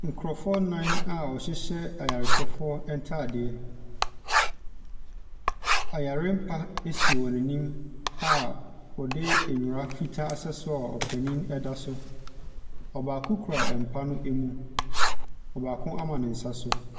Nkorɔfoɔ nan a wɔhyehyɛ ayarehwɛfoɔ ntaadeɛ. Ɔyarempa esi wɔn nim a wɔde ndwira fitaa asɛ so a opanin ɛda so. Ɔbaako kura mpa no emu, ɔbaako ama ne nsa so.